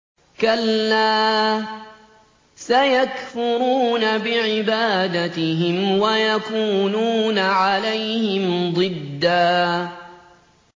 كَلَّا ۚ سَيَكْفُرُونَ بِعِبَادَتِهِمْ وَيَكُونُونَ عَلَيْهِمْ ضِدًّا